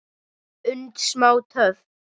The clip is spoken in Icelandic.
und og smá töf,